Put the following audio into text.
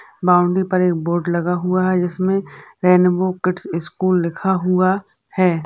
Boundary पर एक board लगा हुआ है जिस में रैनबो किड्स स्कुल लिखा हुआ है।